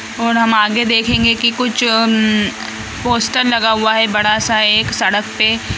और हम आगे देखेंगे की कुछ उम्म पोस्टर लगा हुआ है बड़ा सा एक सड़क पे |